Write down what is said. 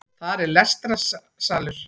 Þar er lestrarsalur